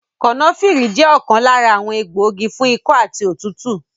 Kànáfìrì jẹ́ ọ̀kan lára àwọn egbògi fún ikọ́ àti òtútù